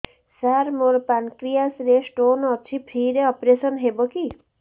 ସାର ମୋର ପାନକ୍ରିଆସ ରେ ସ୍ଟୋନ ଅଛି ଫ୍ରି ରେ ଅପେରସନ ହେବ କି